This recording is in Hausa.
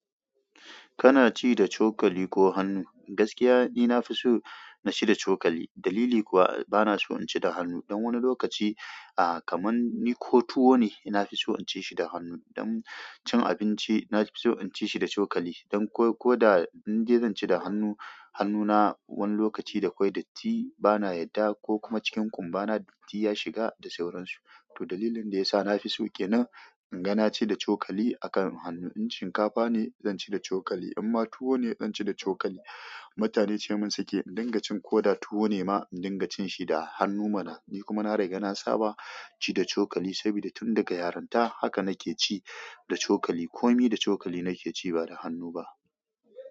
Kana ci da cokali ko hannu? Gaskiya ni nafi so naci da cokali. Dalili kuwa bana so in ci da hannu. Don wani lokaci, ah, kaman ni ko tuwo ne, na fi so in ci shi da hannu. Don cin abinci, na fi so in ci shi da cokali. Don ko da in de zan ci da hannu, hannuna wani lokaci da kwai datti bana yadda ko kuma cikin kumbana datti ya shiga da sauransu. To dalilin da ya sa na fi so ke nan, in ga na ci da cokali a kan hannu. In shinkafa ne, zan ci da cokali. Amma tuwo ne, zan ci da cokali. Mutane ce min suke, "in dinga cin ko da tuwo ne ma, in dinga cin shi da hannu mana." Ni kuma na riga na saba ci da cokali saboda tun daga yaranta haka nake ci da cokali. Komi da cokali nake ci ba da hannu ba.